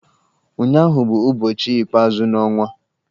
Ụnyụahụ bụ ụbọchị ikpeazụ n'ọnwa.